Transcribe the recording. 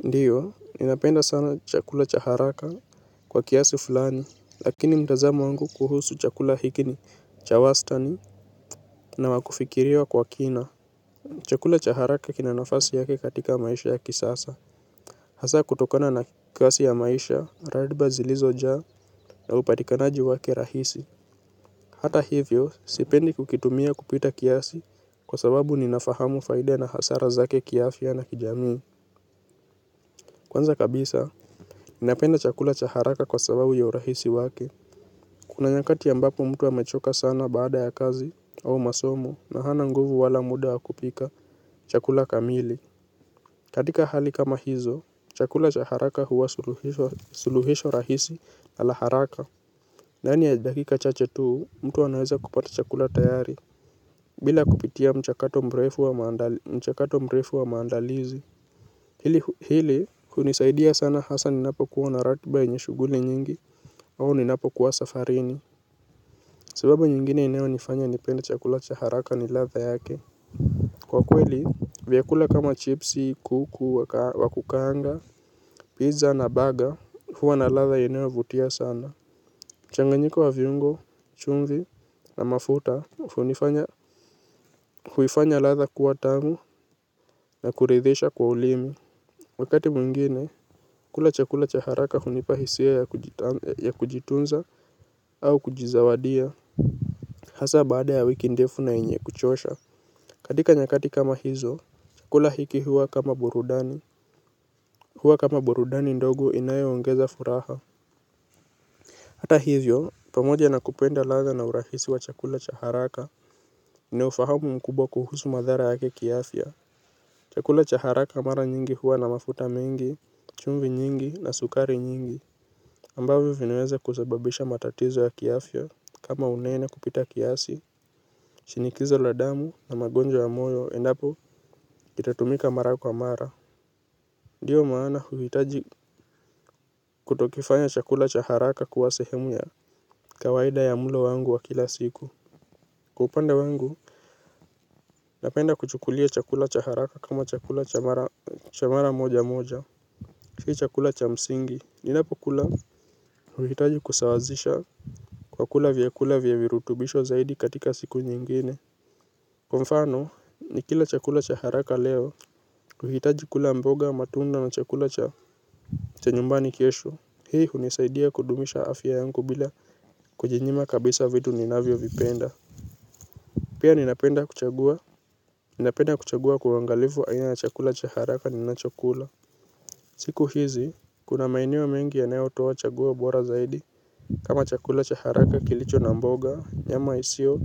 Ndiyo, ninapenda sana chakula chaharaka kwa kiasi fulani, lakini mtazamo wangu kuhusu chakula hiki ni cha wastani na wakufikiria kwa kina. Chakula chaharaka kinanafasi yake katika maisha ya kisasa. Hasa kutokona na kasi ya maisha, radiba zilizo jaa na upatikanaji wake rahisi. Hata hivyo, sipendi kukitumia kupita kiasi kwa sababu ninafahamu faida na hasara zake kiafya na kijamii. Kwanza kabisa, ninapenda chakula chaharaka kwa sababu ya urahisi wake. Kuna nyakati yambapo mtu hamechoka sana baada ya kazi au masomo na hana nguvu wala muda wa kupika chakula kamili. Katika hali kama hizo, chakula chaharaka huwa suluhisho rahisi ala haraka. Ndani ya dakika chache tuu, mtu anaweza kupata chakula tayari. Bila kupitia mchakato mrefu wa maandalizi. Hili hunisaidia sana hasa ni napo kuwa naratiba yenye shuguli nyingi au ninapo kuwa safarini. Sababu nyingine inewa nifanya nipenda chakula chaharaka ni latha yake. Kwa kweli vyakula kama chipsi, kuku, wakukanga, pizza na baga huwa na latha inewa vutia sana mchanganyiko wa viungo, chumvi na mafuta huifanya latha kuwa tamu na kuridhisha kwa ulimi wakati mwingine, kula chakula chaharaka hunipahisia ya kujitunza au kujizawadia. Hasa baada ya wiki ndefu na enye kuchosha. Kadika nyakati kama hizo, chakula hiki huwa kama burudani. Huwa kama burudani ndogo inayoongeza furaha. Hata hivyo, pamoja na kupenda latha na urahisi wa chakula cha haraka, ninaufahamu mkubwa kuhusu madhara yake kiafya. Chakula chaharaka mara nyingi huwa na mafuta mingi, chumvi nyingi na sukari nyingi. Ambavyo vinaeza kusababisha matatizo ya kiafya kama unene kupita kiasi shinikizo la damu na magonjwa ya moyo endapo itatumika mara kwa mara. Ndiyo maana huvitaji kutokifanya chakula cha haraka kuwa sehemu ya kawaida ya mulo wangu wa kila siku. Kwa upande wangu napenda kuchukulia chakula cha haraka kama chakula cha mara moja moja sii chakula cha msingi endapo kula. Uhitaji kusawazisha. Kwa kula vyakula vyavirutubisho zaidi katika siku nyingine. Kwa mfano ni kila chakula cha haraka leo. Uhitaji kula mboga matunda na chakula cha cha nyumbani kesho. Hii hunisaidia kudumisha afya yanku bila kujinyima kabisa vidu ninavyo vipenda. Pia ninapenda kuchagua. Ninapenda kuchagua kuangalifu aina na chakula cha haraka ni na chakula. Siku hizi kuna maenewo mengi yanao toa chaguo bora zaidi. Kama chakula cha haraka kilicho na mboga nyama isio